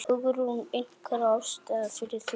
Hugrún: Einhver ástæða fyrir því?